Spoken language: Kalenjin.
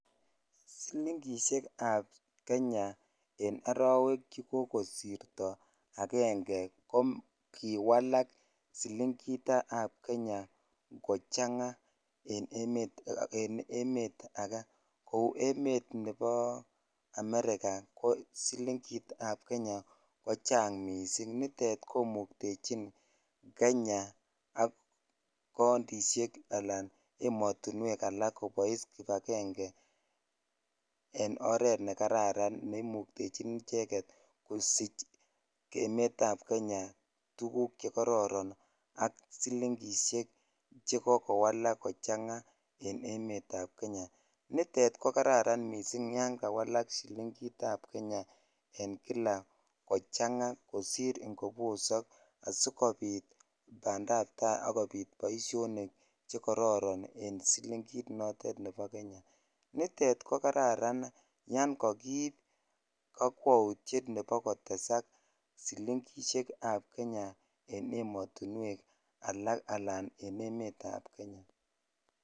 Silingiseiekab kenya en arawek chekokosirto akenge kokiwalak silingitab kenya kokiwalak kochang'aa en emet ake kou emet nebo America ko silingitab kenya kochang missing nitet komuktechin Kenya ak countisiek alan emotinwek alak kobois kipakenge alan en oret nekararan neimuktechin icheket kosich emetab Kenya tukuk chekororon ak silingisiek chekoko walak kochang'aa en emetab Kenya, nitet kokararan missing yangawalak silingitab kenya en kila kochang'aa kosir ingobosok asikopit bandab tai akopit boisionik chekororon en silingit notet ne bo kenya nitet kokararan yongo kiib kokwoutiet ne bo kotesak silingisiekab kenya en emotinywek alak alan en emetab kenya.